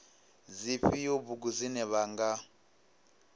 dzifhio bugu dzine vha nga